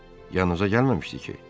Yanınıza gəlməmişdi ki?